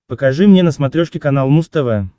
покажи мне на смотрешке канал муз тв